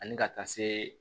Ani ka taa se